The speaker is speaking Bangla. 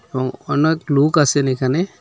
এবং অনেক লোক আসেন এখানে।